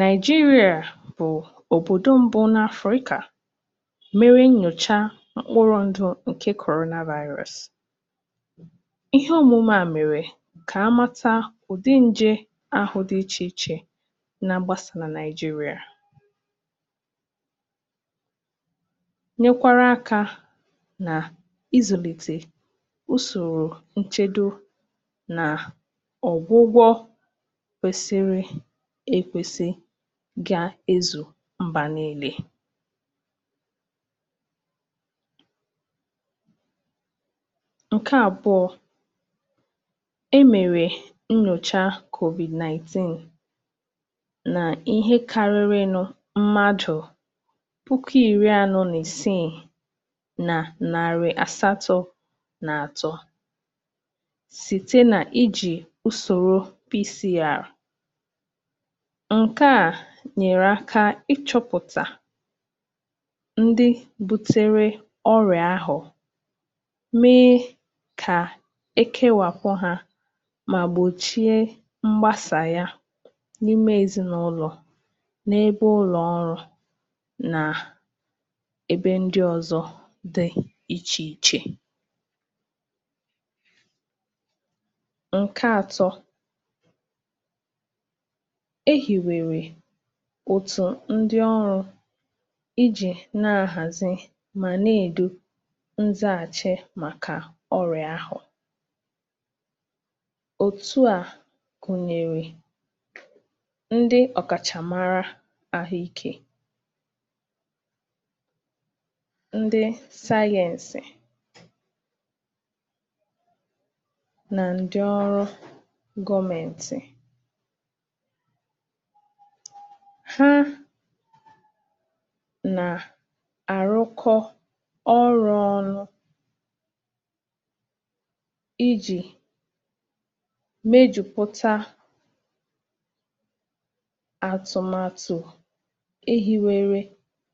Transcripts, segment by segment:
Naịjíríà bụ̀ òbòdò mbụ n’Afrịkà kèwàpụtara iji mee nnyòcha mkpụrụ ndụ̀ banyere ọrịa korọ̀nà vaịrọ̀s um. Ǹnọ̀chite à hèlpèrè ijikọta na ịchọ̀pụ̀tà ǹdị̀ iche iche nke vaịrọ̀s ahụ̀ nà-ègbàsà n’òbòdò ahụ. N’oge ahụ̀, ụ̀sọ̀rò nchedo na ọgwụgwọ adịghị̀ ike nke ọma, nke mere na ọgụ megide ọrịa ahụ̀ sịrị ike. Ǹnyòcha a na-eme bụ́ nke e ji usorò P C R um, nke nyere aka ịchọ̀pụ̀tà ǹdí butere ọrịa ahụ̀ ma mee ka e wepụ̀ ha iche, iji gbochie mgbàsà ọrịa ahụ n’ime ezinụlọ, n’ebe ọrụ́, na n’ebe ndị ọzọ. A hiwere òtù pụrụ iche iji hazie na lekọta mmeghachi omume Naịjíríà megide ọrịa ahụ um. Òtù a gụnyere ǹdí ọkàchàmàrà n’àhụ́ ike na ǹdí ọrụ́ gọ́mèntì̀, ha na-arụkọ ọrụ́ ọnụ iji mepụta ma tinye n’ọrụ atụmatụ ọma maka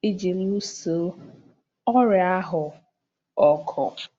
ịchịkwa ọrịa ahụ. Ǹnyòcha na mgbalị̀ ndị a jikọtara ọnụ nyere aka nke ukwuu n’ịkwalite ike Naịjíríà iji nyochaa, chịkwaa, ma gbòchie mgbàsà ọrịa COVID-náìntìn.